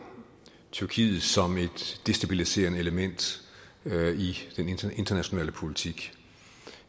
tyrkiet som et destabiliserende element i den internationale politik